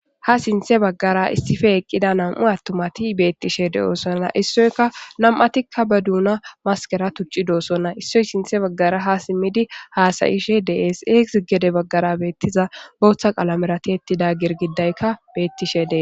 Ha sinthe baggara issife eqqida nam'u attumati beettishe de'osonna issoyka nam'atikka ba duuna maskera tucci doosonna issoy sinthe baggara ha simmidi haasayishe dees eegz gede baggara beettiza booththa qalamerati ettida girgidaykka beettishe dee.